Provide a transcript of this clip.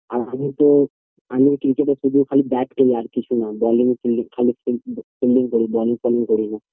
আর আমি তো আমি ক্রিকেটের শুধু খালি bat খেলি আর কিছু নয় ball fielding খালি field fielding করি ball falling করিনা